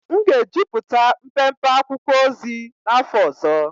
M ga-ejupụta mpempe akwụkwọ ozi n'afọ ọzọ.